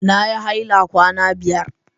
Na yi haila kwana biyar.